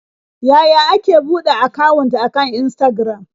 Yaya ake buɗe akawun akan Instagram?